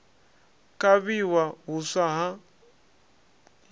kavhiwa huswa ha hiv na